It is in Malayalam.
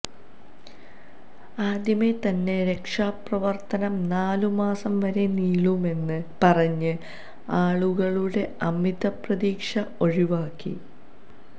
ആദ്യമേ തന്നെ രക്ഷാപ്രവർത്തനം നാലു മാസം വരെ നീളുമെന്ന് പറഞ്ഞ് ആളുകളുടെ അമിത പ്രതീക്ഷ ഒഴിവാക്കി